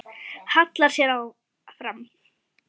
Hallar sér fram.